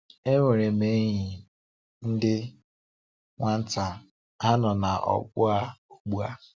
Enwere m enyi ndị nwata ha nọ na ogbo a ugbu a.